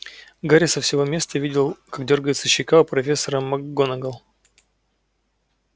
гарри со своего места видел как дёргается щека у профессора макгонагалл